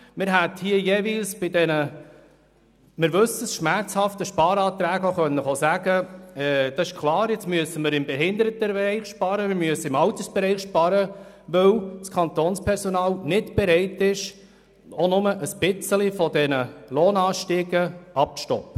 Bei den Sparanträgen – wir wissen, sie waren jeweils schmerzhaft – hätten wir auch sagen können, es sei klar, wir müssten jetzt im Behindertenbereich oder im Altersbereich sparen, weil das Kantonspersonal nicht bereit ist, auch nur ein bisschen von den Lohnanstiegen abzusehen.